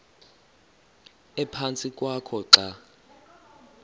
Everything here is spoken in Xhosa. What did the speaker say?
ephantsi kwakho xa